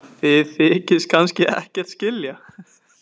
Þið þykist kannski ekkert skilja?